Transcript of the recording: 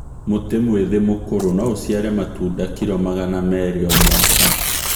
Mũtĩ mwĩthĩ mũkũrũ no ũciare matunda kiro magana merĩ o mwaka